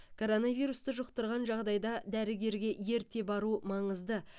коронавирусты жұқтырған жағдайда дәрігерге ерте бару маңызды